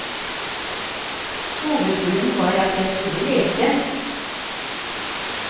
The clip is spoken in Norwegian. Hovedgrunnen var at jeg skulle lese.